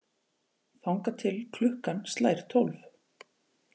Þangað til klukkan slær tólf.